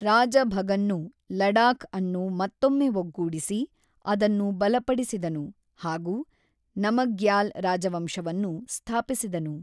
ರಾಜ ಭಗನ್‌ನು ಲಡಾಖ್ ಅನ್ನು ಮತ್ತೊಮ್ಮೆ ಒಗ್ಗೂಡಿಸಿ, ಅದನ್ನು ಬಲಪಡಿಸಿದನು. ಹಾಗೂ, ನಮಗ್ಯಾಲ್‌ ರಾಜವಂಶವನ್ನು ಸ್ಥಾಪಿಸಿದನು.